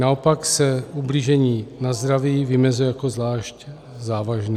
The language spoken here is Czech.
Naopak se ublížení na zdraví vymezuje jako zvlášť závažné.